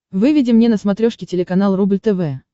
выведи мне на смотрешке телеканал рубль тв